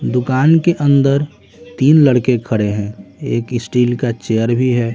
दुकान के अंदर तीन लड़के खड़े हैं एक स्टील का चेयर भी है।